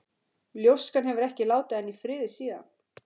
Ljóskan hefur ekki látið hann í friði síðan.